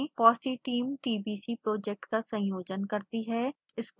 fossee team tbc project का संयोजन करती है